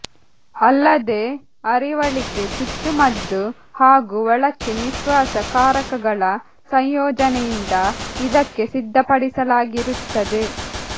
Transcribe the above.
ಅಲ್ಲದೇ ಅರಿವಳಿಕೆ ಚುಚ್ಚುಮದ್ದು ಹಾಗು ಒಳಕ್ಕೆ ನಿಶ್ವಾಸ ಕಾರಕಗಳ ಸಂಯೋಜನೆಯಿಂದ ಇದಕ್ಕೆ ಸಿದ್ದಪಡಿಸಲಾಗಿರುತ್ತದೆ